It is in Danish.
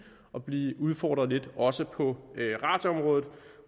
og blive udfordret lidt også på radioområdet